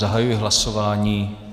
Zahajuji hlasování.